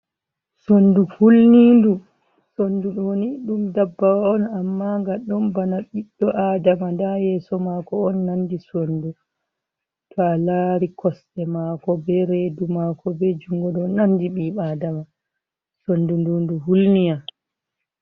Sondu hulnidu. Sondu ɗoni ɗum ndabbawa on amma nga ɗon bana biɗɗo Adama. Nda yeeso mako on nandi sondu to'a lari kosɗe mako, be redu mako, be jungo, don nandi ɓiɗɗo Adama. Sondu ndu ndu hulniyam.